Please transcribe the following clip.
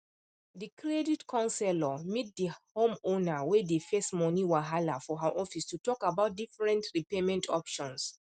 the credit counselor meet the homeowner wey dey face money wahala for her office to talk about different repayment options